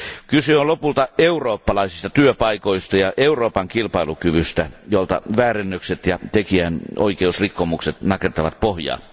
Kyse on lopulta eurooppalaisista työpaikoista ja Euroopan kilpailukyvystä, jolta väärennökset ja tekijänoikeusrikkomukset nakertavat pohjaa.